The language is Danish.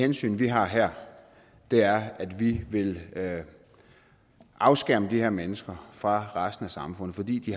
hensyn vi har her er at vi vil afskærme de her mennesker fra resten af samfundet fordi de